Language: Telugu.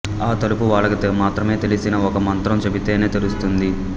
ఆ తలుపు వాళ్ళకి మాత్రమే తెలిసిన ఒక మంత్రం చెబితేనే తెలుస్తుంది